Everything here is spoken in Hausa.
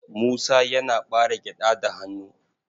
Musa yana ɓare gyaɗa da hannu.